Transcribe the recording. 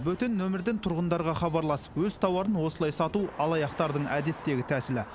бөтен нөмірден тұрғындарға хабарласып өз тауарын осылай сату алаяқтардың әдеттегі тәсілі